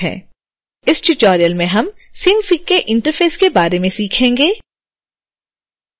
इस ट्यूटोरियल में हम synfig के इंटरफ़ेस के बारे में सीखेंगे